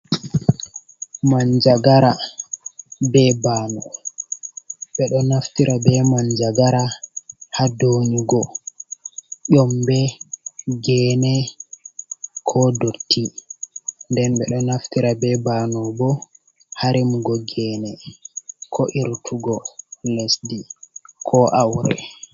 Manjagara be bano ɓe ɗo naftira be manjagara ha donyugo yombe, gene, ko dotti, den ɓe ɗo naftira be bano bo ha remugo geene ko irtugo lesdi ko aure.